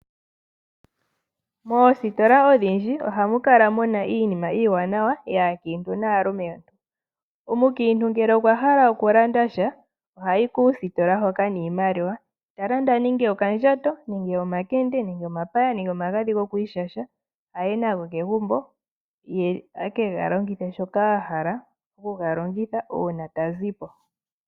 Moostola odhindji ohamu kala muna iinima iiwanawa yaakintu naalumentu. Omukintu ngele okwa hala oku landasha oha yi kuusitola hono noshimaliwa eki ilandele shoka ahala ngashi okandjato, omakende, omapaya nenge omagadhi gokwishasha aye nago kegumbo ye eke galongithe shoka ahala oku ga longitha una ta zipo.